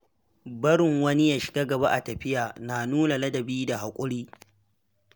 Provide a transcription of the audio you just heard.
Barin wani ya shiga gaba a tafiya na nuna ladabi da haƙuri.